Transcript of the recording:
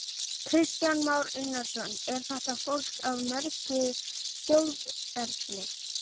Kristján Már Unnarsson: Er þetta fólk af mörgu þjóðerni?